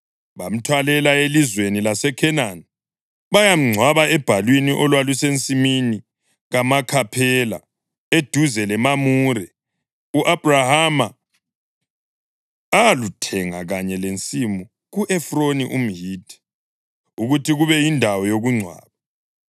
Bamthwalela elizweni laseKhenani bayamngcwaba ebhalwini olwalusensimini kaMakhaphela, eduze leMamure, u-Abhrahama aluthenga kanye lensimu ku-Efroni umHithi ukuthi kube yindawo yokungcwaba.